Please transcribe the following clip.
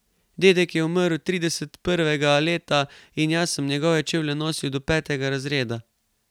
Dedek je umrl trideset prvega leta in jaz sem njegove čevlje nosil do petega razreda.